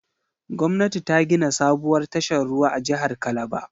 Gwamnati ta gina sabuwar tashar ruwa a jihar Calabar.